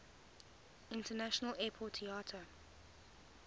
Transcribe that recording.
international airport iata